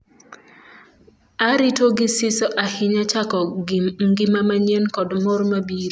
"Arito gi siso ahinya chako ngima manyien kod mor mabiro".